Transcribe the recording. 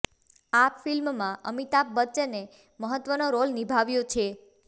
આ ફિલ્મમાં અમિતાભ બચ્ચને મહત્વનો રોલ નિભાવ્યો છે